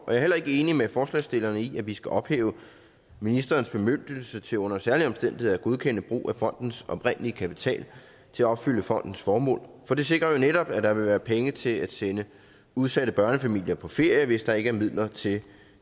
er heller ikke enig med forslagsstillerne i at vi skal ophæve ministerens bemyndigelse til under særlige omstændigheder at godkende brug af fondens oprindelige kapital til at opfylde fondens formål for det sikrer jo netop at der vil være penge til at sende udsatte børnefamilier på ferie hvis der ikke er midler til